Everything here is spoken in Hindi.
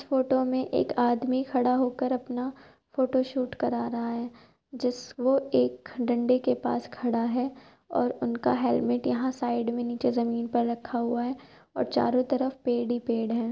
फोटो में एक आदमी खड़ा होकर अपना फोटोशूट करा रहा है। जिस वो एक डंडे के पास खड़ा है और उनका हेलमेट यहाँ साईड में निचे जमीन पर रखा हुआ है औ चारो तरफ पेड़ ही पेड़ हैं।